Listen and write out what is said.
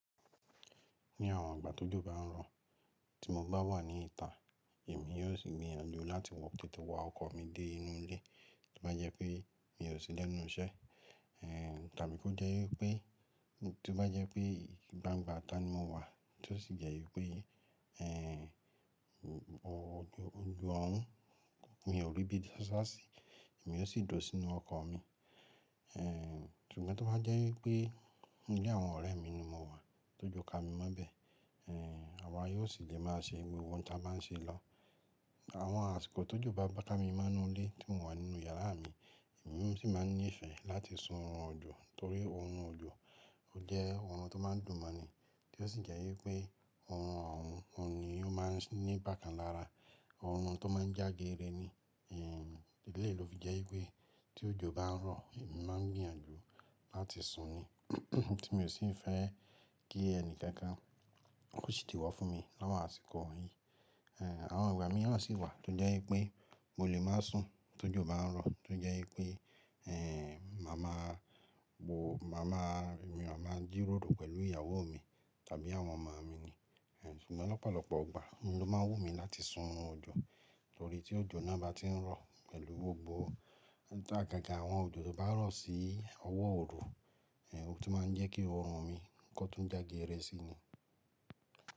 Ní àwọn ìgbà tó jọba ń rọ̀, tí mo bá wà ní ìta, èmi yóò sì gbìyànjú láti wọ tètè wá ọkọ̀ mi dé inú ilé tí ó bá jẹ́ pé mi ò sí lẹ́nu iṣẹ́. Tàbí kó jẹ́ wípé tí ó bá jẹ́ pé gbangba ita ni mo wà tí ó sì jẹ́ wípé òjò ọ̀hún mi ò rí ibi dáṣá sí, èmi yóò sì dùn sínú ọkọ̀ mi. Ṣùgbọ́n tí ó bá jẹ́ wípé nílé àwọn ọ̀rẹ́ mi ni mo wà, tọ́jú ká mi mọ́bẹ̀, àwa yóò sì lè máa ṣe gbogbo ohun tí a máa ń ṣe lọ́wọ́. Àwọn àsìkò ti ojo bá bá ká mi mọ́ inú ilé tí mò ń wà nínú yàrá mi, emi sì máa nífẹ̀ẹ́ láti sun orun òjò torí orun òjò ó jẹ́ ohun tó máa ń dùn mọ́ ni tí ó sì jẹ́ wípé orun òhún ni ó máa ń ní bákan lára, ohun tó máa ń jágere ni. Ìdí nii ló fi jẹ́ wípé tí òjò bá ń rọ̀, èmi máa ń gbìyànjú láti sun ni tí mi ò sì fẹ́ kí ẹni kankan ko se idiwo fún mi láwọn àsìkò wọ̀nyí. Àwọn ìgbà mìíràn sì wà tó jẹ́ wípé mo lè máa sùn tí òjò bá ń rọ̀ tí ó jẹ́ wípé màmá mi wà máa jí ròro pẹ̀lú ìyàwó mi tàbí àwọn ọmọ mi ni. Ṣùgbọ́n lọ́pọ̀lọpọ̀ ìgbà ni ló máa wù mí láti sun oorun òjò torí tí òjò náà bá ti ń rọ̀ pẹ̀lú gbogbo gágà àwọn òjò tó bá rọ̀ sí ọwọ́ oru, ó sì máa ń jẹ́ kí orun mi kó tún jágere sí ni.